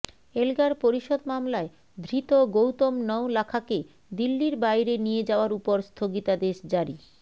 Elgar Parishad মামলায় ধৃত গৌতম নওলাখাকে দিল্লির বাইরে নিয়ে যাওয়ার উপর স্থগিতাদেশ জারি